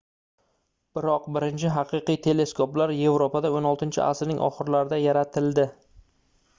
biroq birinchi haqiqiy teleskoplar yevropada xvi asrning oxirlarida yaratildi